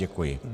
Děkuji.